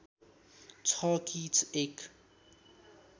छ कि एक